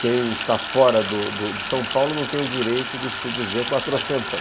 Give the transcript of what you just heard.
Quem está fora do do de São Paulo não tem o direito de se dizer quatrocentão